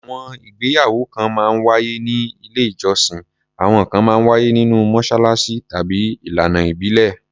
Àwọn ìgbéyàwó kan máa ń wáyé ní ilé-ìjọsìn, àwọn kan máa ń wáyé nínú mọ́ṣáláṣí, tàbí ìlànà ìbílẹ̀.